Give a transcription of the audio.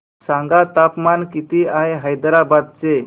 सांगा तापमान किती आहे हैदराबाद चे